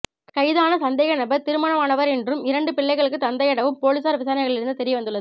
கைதான சந்தேகநபர் திருமணமானவர் என்றும் இரண்டு பிள்ளைகளுக்கு தந்தை எனவும் பொலிஸாரின் விசாரணைகளிலிருந்து தெரிய வந்துள்ளது